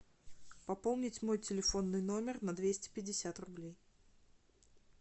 пополнить мой телефонный номер на двести пятьдесят рублей